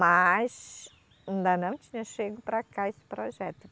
Mas ainda não tinha chego para cá esse projeto.